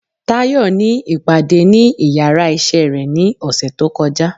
Tayo ní ipadé ní ìyára iṣẹ re ní osé to kojá